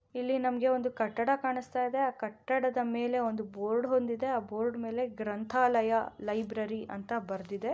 ಇಲ್ಲಿ ನಮಗೆ ಒಂದು ಕಟ್ಟಡ ಕಾಣಿಸ್ತಾ ಇದೆ. ಆ ಕಟ್ಟಡದ ಮೇಲೆ ಒಂದು ಬೋರ್ಡ್ ಬಂದಿದೆ. ಆ ಬೋರ್ಡ್ ಮೇಲೆ ಗ್ರಂಥಾಲಯ ಲೈಬ್ರರಿ ಅಂತ ಬರೆದಿದೆ.